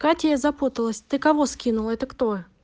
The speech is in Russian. катя я запуталась ты кого скинула это кто